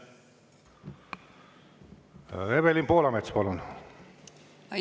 Evelin Poolamets, palun!